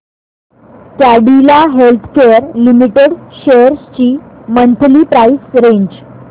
Cadila healthcare limited shares ची monthly price range